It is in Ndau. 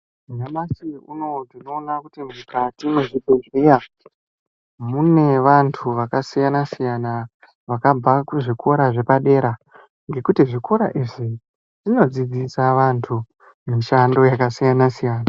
Nyamashi unowu tinoona kuti mukati mwezvibhedheya mune vantu vakasiyana siyana vakabva kuzvikora zvepadera ngokuti zvikora izvi zvinodzidzisa vantu mishando yakasiyana siyana.